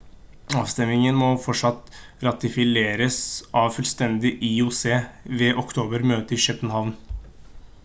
avstemmingen må fortsatt ratifiseres av fullstendig ioc ved oktober-møtet i københavn